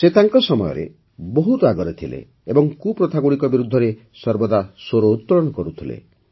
ସେ ତାଙ୍କ ସମୟରେ ବହୁତ ଆଗରେ ଥିଲେ ଏବଂ କୁପ୍ରଥାଗୁଡ଼ିକ ବିରୁଦ୍ଧରେ ସର୍ବଦା ସ୍ୱରୋତ୍ତଳନ କରୁଥିଲେ